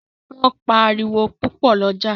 Wón pá àriwo pupo l’oja